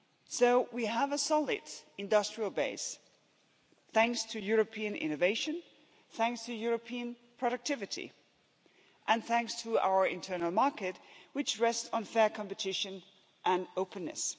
So, we have a solid industrial base thanks to European innovation, thanks to European productivity and thanks to our internal market which rests on fair competition and openness.